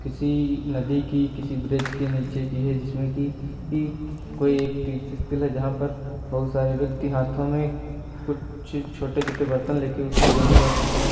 किसी नदी की किसी ब्रिज के नीचे की है जिसमें की कोई एक तीर्थ स्थल है जहां पर बहोत सारे व्यक्ति हाथों में कुछ छोटे छोटे बर्तन लेके उसमें जल भर रहे हैं।